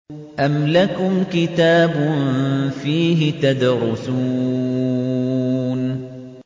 أَمْ لَكُمْ كِتَابٌ فِيهِ تَدْرُسُونَ